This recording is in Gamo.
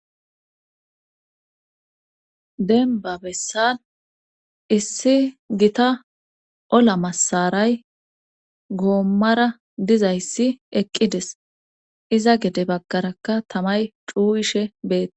denba bessan issi gita ola masaray goommara dizayssi eqqides iza gede bakarakka tamay cuuwishe beee